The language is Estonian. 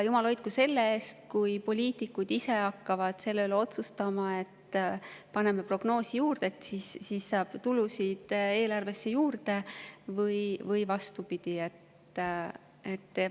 Jumal hoidku selle eest, kui poliitikud ise hakkaksid otsustama, et paneme prognoosi juurde, et siis saab eelarvesse tulusid juurde, või vastupidi.